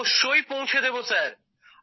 অবশ্যই পৌঁছে দেব স্যার